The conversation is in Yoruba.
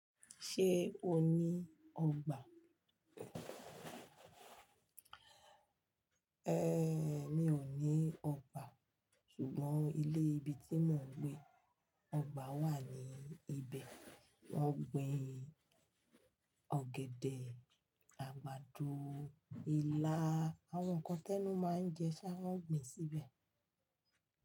Ṣé o ní ọgbà? Mi ò ní ọgbà sùgbọ́n ilé ibi tí mò ń gbé, ọgbà wà ní ibẹ̀. Wọ́n gbin ọ̀gẹ̀dẹ̀, àgbàdo, ilá, àwọn nǹkan tẹ́nu máa ń jẹ ṣá wọ́n gbin síbẹ̀